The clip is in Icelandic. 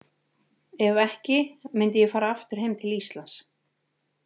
Ef ekki, myndi ég fara aftur heim til Íslands.